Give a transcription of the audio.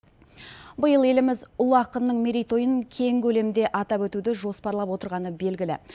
биыл еліміз ұлы ақынның мерейтойын кең көлемде атап өтуді жоспарлап отырғаны белгілі